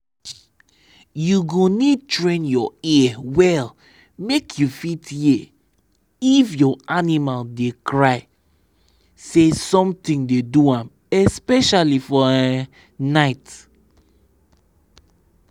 you go need train your ear well make you fit hear if your animal dey cry say something dey do am especially for um night.